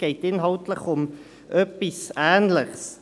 Inhaltlich geht es um etwas Ähnliches.